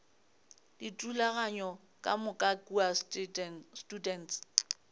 dithulaganyo ka moka kua students